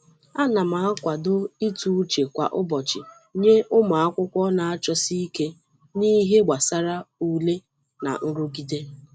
Ana m akwado ịtụ uche kwa ụbọchị nye ụmụakwụkwọ na-achọsi ike n’ihe gbasara ule na nrụgide.